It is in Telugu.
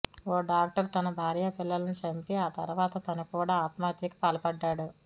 ఓ డాక్టరు తన భార్యా పిల్లలను చంపి ఆ తర్వాత తను కూడా ఆత్మహత్యకు పాల్పడ్డాడు